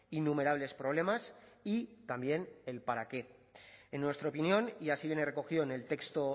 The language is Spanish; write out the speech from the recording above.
innumerables problemas y también el para qué en nuestra opinión y así viene recogido en el texto